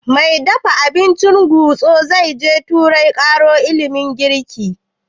Mai dafa abincin gusto zai je turai ƙaro ilimin girki?